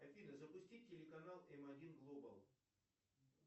афина запусти телеканал м один глобал